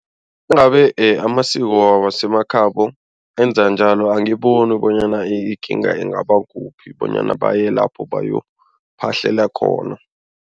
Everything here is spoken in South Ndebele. amasiko wasemakhabo enza njalo angiboni bonyana ikinga ingaba kuphi bonyana baye lapho bayokuphahlela khona.